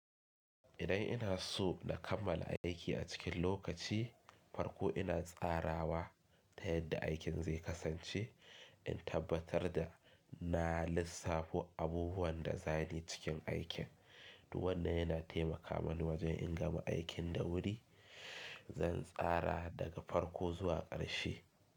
Idan ina so na kammala aiki a cikin lokaci, farko ina tsarawa ta yadda aikin zai kasance. In tabbatar da na lissafo abubuwan da za ni cikin aikin. To wannan yana taimaka mani wajen in gama aikin da wuri. Zan tsara daga farko zuwa ƙarshe.